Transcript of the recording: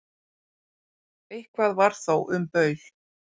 Eitthvað var þó um baul